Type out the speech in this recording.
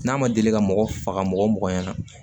N'a ma deli ka mɔgɔ faga mɔgɔ mɔgɔ ɲɛna